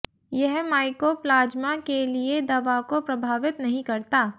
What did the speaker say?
यह माइकोप्लाज़्मा के लिए दवा को प्रभावित नहीं करता